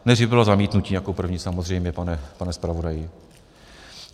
Nejdřív bylo zamítnutí jako první, samozřejmě, pane zpravodaji.